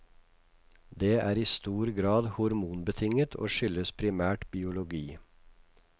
Det er i stor grad hormonbetinget, og skyldes primært biologi.